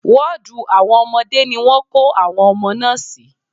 Wọ́ọ̀dù àwọn ọmọdé ni wọ́n kó àwọn ọmọ náà sí.